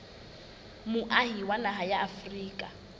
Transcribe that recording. moahi wa naha ya afrika